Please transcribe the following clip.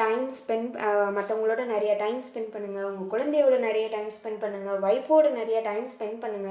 time spend ah மத்தவங்களோட நிறைய time spend பண்ணுங்க உங்க குழந்தையோட நிறைய time spend பண்ணுங்க wife ஓட நிறைய time spend பண்ணுங்க